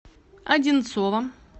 одинцово